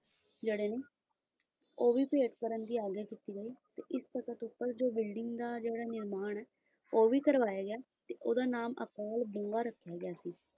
ਜਿਹੜੇ ਨੇ ਹੋਵੇ ਫਿਰ ਕਰਨ ਦੀ ਮੰਗ ਕੀਤੀ ਗਈ ਇਸ ਤਖ਼ਤ ਉੱਪਰ ਦੋ ਬਿਲਡਿੰਗਾਂ ਦਾ ਨਿਰਮਾਣ ਕਰਵਾਇਆ ਗਿਆ ਸੀ ਤੇ ਉਹਦਾ ਨਾਮ